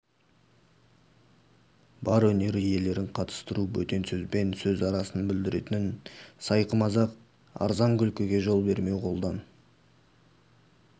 бар өнер иелерін қатыстыру бөтен сөзбен сөз арасын бүлдіретін сайқы-мазақ арзан күлкіге жол бермеу қолдан